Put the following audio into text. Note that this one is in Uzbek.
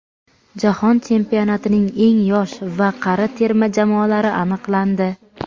Jahon chempionatining eng yosh va qari terma jamoalari aniqlandi.